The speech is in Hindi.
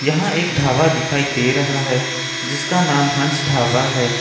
यहां एक ढाबा दिखाई दे रहा है जिसका नाम हंस ढाबा है।